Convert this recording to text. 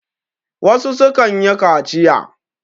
wasu sukan yi kaciya